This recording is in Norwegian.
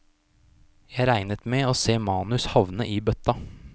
Jeg regnet med å se manus havne i bøtta.